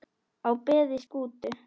á beði Skútu